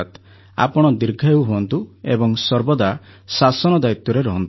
ଆପଣ ଦୀର୍ଘାୟୁ ହୁଅନ୍ତୁ ଏବଂ ସର୍ବଦା ଶାସନ ଦାୟିତ୍ୱରେ ରହନ୍ତୁ